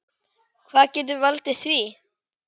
Hvað getur valdið því?